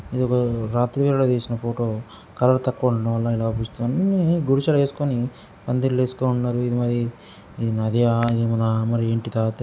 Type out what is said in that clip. ఇది రాత్రి వేళల్లో తీసిన ఫోటో కలర్ తక్కువ ఉండడం వల్లనే ఇలా కనిపిస్తుందీ. ఇన్ని గుడిసెలు వేసుకొని పందిళ్ళేస్తున్నారు. ఇది మరి ఈ నది --